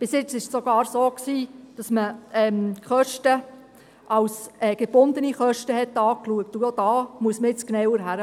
Bisher war es sogar so, dass die Kosten als gebundene Kosten angeschaut wurden.